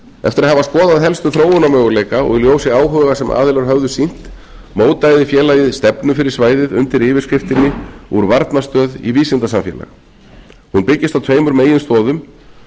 eftir að hafa skoðað helstu þróunarmöguleika og í ljósi áhuga sem aðilar höfðu sýnt mótaði félagið stefnu fyrir svæðið undir yfirskriftinni úr varnarstöðu í vísindasamfélag hún byggist á tveimur meginstoðum